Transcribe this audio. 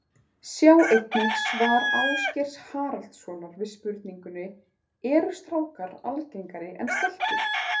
Sjá einnig svar Ásgeirs Haraldssonar við spurningunni Eru strákar algengari en stelpur?